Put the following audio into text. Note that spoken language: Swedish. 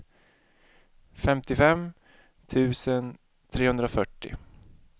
femtiofem tusen trehundrafyrtio